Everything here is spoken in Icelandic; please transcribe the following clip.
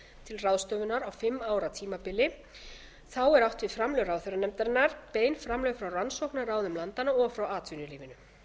til ráðstöfunar á fimm ára tímabili þá er átt við framlög ráðherranefndarinnar bein framlög frá rannsóknarráðum landanna og frá atvinnulífinu